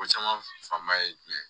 Ko caman fanba ye jumɛn ye